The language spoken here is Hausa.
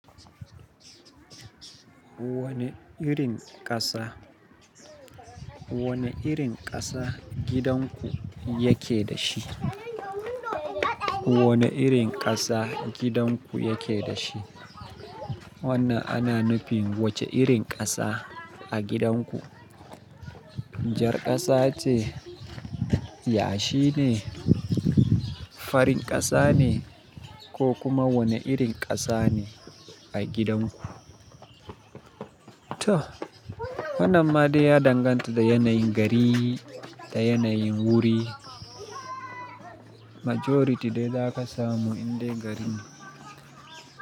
Wane irin ƙasa, wane irin ƙasa gidan ku yake da shi? Wane irin ƙasa gidan ku yake da shi? Wannan ana nufin wace irin ƙasa a gidan ku? Jarƙasa ce, yashi ne, farin ƙasa ne, ko kuma wane irin ƙasa ne a gidan ku? Toh wannan ma dai ya danganta da yanayin gari da yanayin wuri. Majority dai za ka samu inda garin.